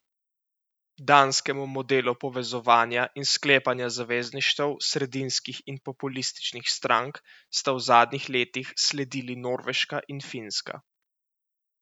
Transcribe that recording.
Danskemu modelu povezovanja in sklepanja zavezništev sredinskih in populističnih strank sta v zadnjih letih sledili Norveška in Finska.